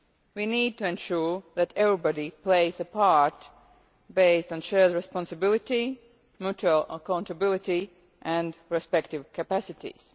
We need to ensure that everybody plays a part, based on shared responsibility, mutual accountability and respective capacities.